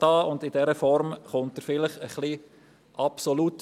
In dieser Form erscheint er vielleicht etwas absolut.